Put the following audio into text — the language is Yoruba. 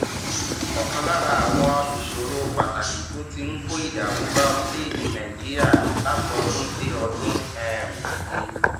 òkan lára àwọn ìṣòro pàtàkì tó ti ń kó ìdààmú bá orílèèdè nàìjíríà látọdún déọdún um ni